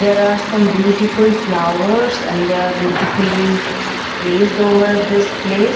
there are some beautiful flowers and they are beautifully placed over this place.